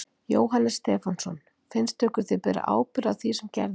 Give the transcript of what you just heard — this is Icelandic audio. Jóhannes Stefánsson: Finnst ykkur þið bera ábyrgð á því sem gerðist?